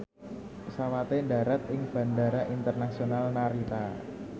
pesawate ndharat ing Bandara Internasional Narita